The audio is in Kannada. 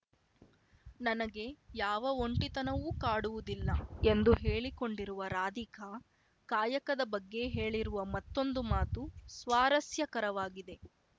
ನನಗೆ ಯಾವ ಒಂಟಿತನವೂ ಕಾಡುವುದಿಲ್ಲ ಎಂದು ಹೇಳಿಕೊಂಡಿರುವ ರಾಧಿಕಾ ಕಾಯಕದ ಬಗ್ಗೆ ಹೇಳಿರುವ ಮತ್ತೊಂದು ಮಾತು ಸ್ವಾರಸ್ಯಕರವಾಗಿದೆ